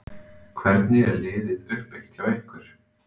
Hvernig er liðið uppbyggt hjá ykkur?